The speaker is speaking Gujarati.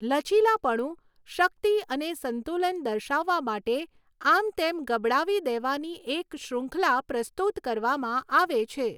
લચીલાપણું, શક્તિ અને સંતુલન દર્શાવવા માટે, આમતેમ ગબડાવી દેવાની એક શ્રુંખલા પ્રસ્તુત કરવામાં આવે છે.